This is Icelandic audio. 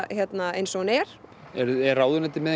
eins og hún er er ráðuneytið með